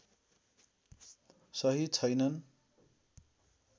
सही छैनन्